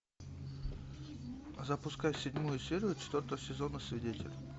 запускай седьмую серию четвертого сезона свидетель